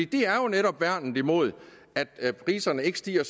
det er jo netop værnet imod at priserne stiger